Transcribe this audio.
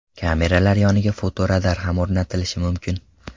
Kameralar yoniga fotoradar ham o‘rnatilishi mumkin.